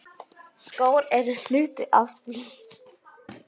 Skór eru hluti af því.